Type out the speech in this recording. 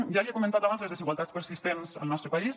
ja li he comentat abans les desigualtats persistents al nostre país